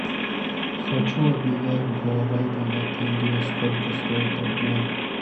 хочу обменять гуарани на тенге сколько стоит обмен